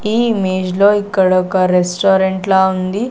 ఈ ఇమేజ్ లో ఇక్కడొక రెస్టారెంట్ లా ఉంది.